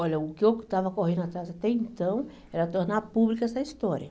Olha, o que eu estava correndo atrás até então era tornar pública essa história.